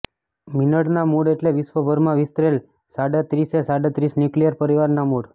મિનળના મૂળ એટલે વિશ્વભરમાં વિસ્તરેલ સાડત્રીસે સાડત્રીસ ન્યૂક્લિયર પરિવારના મૂળ